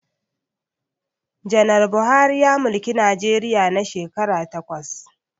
Janar Buhari ya mulki Najeriya na shekara takwas